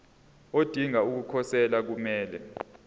odinga ukukhosela kumele